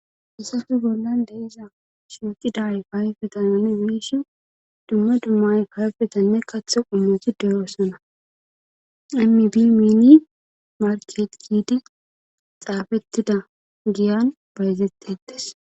Issafe bollan deiza shinqiday kaayfetanane weeshi dumma dumma ykayfetanne katho ummoti deyoosana mibi miini market giidi xaafettida giyan bayzexetes